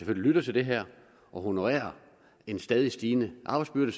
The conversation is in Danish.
lytter til det her og honorerer en stadig stigende arbejdsbyrde